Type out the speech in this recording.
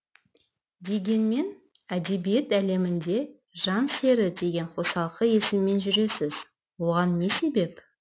дегенмен әдебиет әлемінде жан сері деген қосалқы есіммен жүресіз оған не себеп